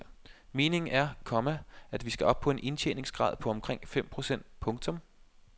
Meningen er, komma at vi skal op på en indtjeningsgrad på omkring fem procent. punktum